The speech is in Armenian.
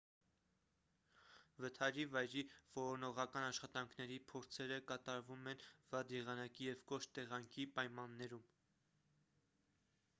վթարի վայրի որոնողական աշխատանքների փորձերը կատարվում են վատ եղանակի և կոշտ տեղանքի պայմաններում